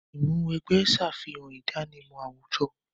Ìmúw'ẹgbẹ́ ṣàfihàn ìdánimọ̀ àwùjọ.